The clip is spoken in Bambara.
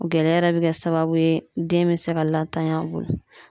O gɛlɛya yɛrɛ bɛ kɛ sababu ye, den bɛ se ka latanya an bolo.